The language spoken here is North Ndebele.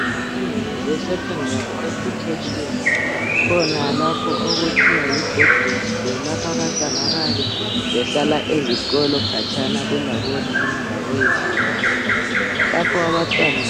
Ezifundweni zesekhondari "education" kukhona lapho okuthiwa yi"boarding school" lapha abantwana abayab behlala ezikolo khatshana kulabonina laboyihlo babo. Lapha abantwana